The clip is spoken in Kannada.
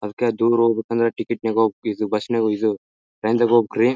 ಅದಿಕ್ಕ ದೂರ ಹೋಗ್ಬೇಕ ಟಿಕೆಟ್ ನಾಗ್ ಹೋಗ್ಬೇಕು ಬಸ್ ನಾಗ್ ಇದು ಟ್ರೈನ್ ದಗ್ ಹೋಗ್ಬೇಕ್ರಿ.